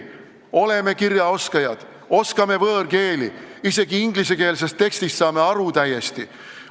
Me oleme kirjaoskajad ja oskame võõrkeeli, isegi ingliskeelsest tekstist saame täiesti aru.